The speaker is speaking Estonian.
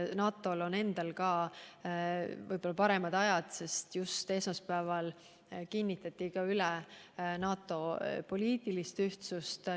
Ka NATO-l endal on võib-olla paremad ajad, sest just esmaspäeval kinnitati üle NATO poliitiline ühtsus.